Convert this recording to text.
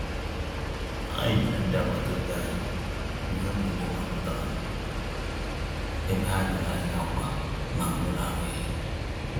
Anyị bunyere ndị àgbàtàobi anyị ihe ubi ndị mapụtara nụ, ebe ha nyere anyị ákwà na mmiri ara ehi.